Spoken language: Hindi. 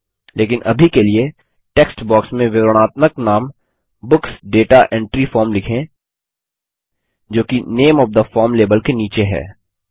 लेकिन अभी के लिए टेक्स्ट बॉक्स में विवरणात्मक नाम बुक्स दाता एंट्री फॉर्म लिखें जो कि name of the form label के नीचे है